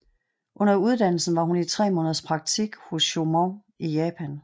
Under uddannelsen var hun i tre måneders praktik hos Choemon i Japan